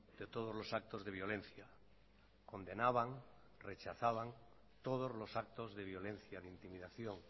de todos los actos de violencia condenaban rechazaban todos los actos de violencia de intimidación